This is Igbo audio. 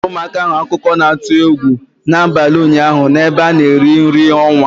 Ọ kọrọ ụmụaka ahụ akụkọ na-atụ egwu n'abalị ụnyaahụ n'ebe a na-eri nri ọnwa.